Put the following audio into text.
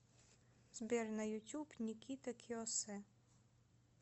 сбер на ютуб никита киоссе